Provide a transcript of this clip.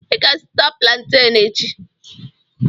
I ga-azụta planten echi.